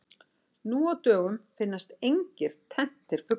Nú á dögum finnast engir tenntir fuglar.